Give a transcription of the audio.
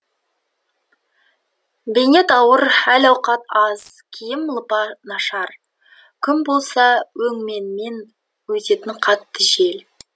бейнет ауыр әл ауқат аз киім лыпа нашар күн болса өңменінен өтетін қатты жел